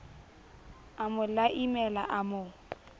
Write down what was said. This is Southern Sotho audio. a mo laimela a mo